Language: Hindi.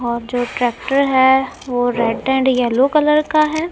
और जो ट्रैक्टर है वो रेड एंड येलो कलर का है।